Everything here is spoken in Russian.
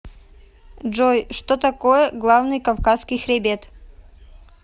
джой что такое главный кавказский хребет